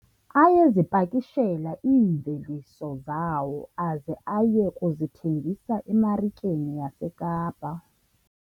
Ayezipakishela iimveliso zawo aze aye kuzithengisa emarikeni yaseKapa.